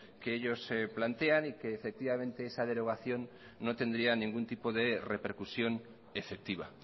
que ellos plantean y que esa derogación no tendría ningún tipo de repercusión efectiva